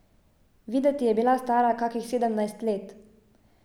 Videti je bila stara kakih sedemnajst let.